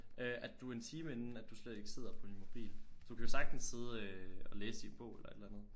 Øh at du en time inden at du slet ikke sidder på din mobil du kan jo sagtens sidde øh og læse i en bog eller et eller andet